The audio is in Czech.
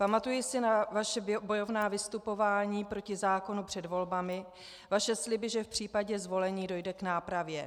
Pamatuji si na vaše bojovná vystupování proti zákonu před volbami, vaše sliby, že v případě zvolení dojde k nápravě.